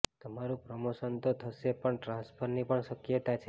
તમારુ પ્રમોશન તો થશે પણ ટ્રાંસફરની પણ શક્યતા છે